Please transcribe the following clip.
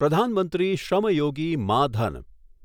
પ્રધાન મંત્રી શ્રમ યોગી માં ધન